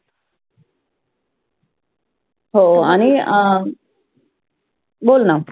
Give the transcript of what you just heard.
हो आणि अं बोल ना.